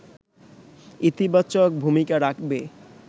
ইতিবাচক ভূমিকা রাখবে